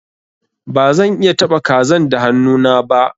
Ba zan iya taba kazan da hannu na ba.